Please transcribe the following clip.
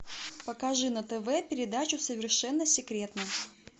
покажи на тв передачу совершенно секретно